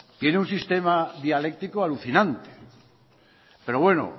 tiene un sistema dialéctico alucinante pero bueno